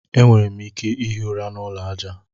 E nwere m ike ihi ụra n'ụlọ aja.